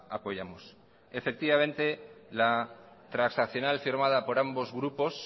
apoyamos efectivamente la transaccional firmada por ambos grupos